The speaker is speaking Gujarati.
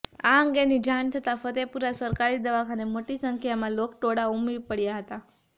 આ અંગેની જાણ થતાં ફતેપુરા સરકારી દવાખાને મોટી સંખ્યામાં લોકટોળા ઉમટી પડ્યા હતા